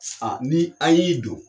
ni an y'i don.